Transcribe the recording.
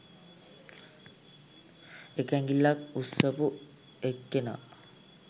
එක ඇඟිල්ලක් උස්සපු එක්කෙනා